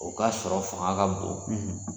O k'a sɔrɔ faŋa ka bon